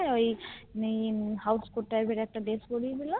ওই Housecourt Type এর একটা Dress পরিয়ে দিলো